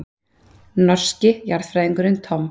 Norski jarðfræðingurinn Tom.